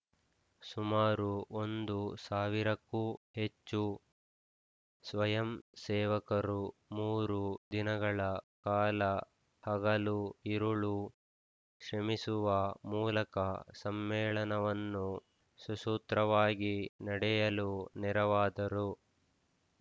ಸುಮಾರು ಒಂದು ಸಾವಿರಕ್ಕೂ ಹೆಚ್ಚು ಸ್ವಯಂ ಸೇವಕರು ಮೂರು ದಿನಗಳ ಕಾಲ ಹಗಲು ಇರಳು ಶ್ರಮಿಸುವ ಮೂಲಕ ಸಮ್ಮೇಳನವನ್ನು ಸುಸೂತ್ರವಾಗಿ ನಡೆಯಲು ನೆರವಾದರು